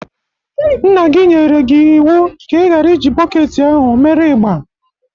Nna gi nyere gị iwu ka ị ghara iji bọketi ahụ mere igba.